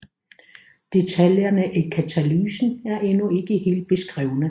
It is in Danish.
Deltaljerne i katalysen er endnu ikke helt beskrevne